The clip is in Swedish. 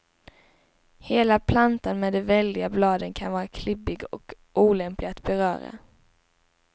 Hela plantan med de väldiga bladen kan vara klibbig och olämplig att beröra.